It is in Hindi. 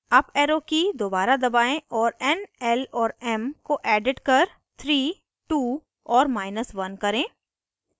अप arrow की दोबारा दबाएं और n l और m को edit कर 3 2 और1 करें